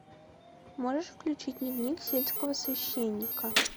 можешь включить дневник сельского священника